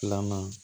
Filanan